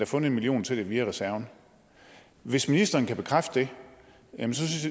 fundet en million til det via reserven hvis ministeren kan bekræfte den så